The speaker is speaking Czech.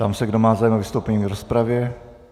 Ptám se, kdo má zájem o vystoupení v rozpravě.